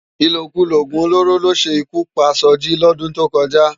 Ilókúló ógún ólóró ló sé ikú pá Soji lòdún tókòjá